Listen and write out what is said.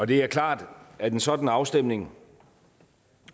det er klart at en sådan afstemning